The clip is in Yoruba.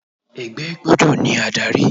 Ẹgbẹ́ gbọ́dọ̀ ní adárí.